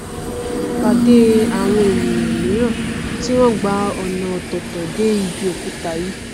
pàdé àwọn ènìà míràn tí wọn gba ọnà ọtọọtọ dé ibi ọkúta yìí